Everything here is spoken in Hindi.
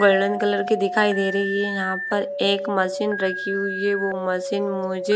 गोल्डन कलर की दिखाई दे रही है यहां पर एक मशीन रखी हुई है वो मशीन मुझे--